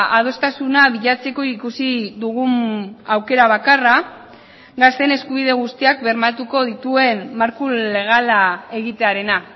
adostasuna bilatzeko ikusi dugun aukera bakarra gazteen eskubide guztiak bermatuko dituen marko legala egitearena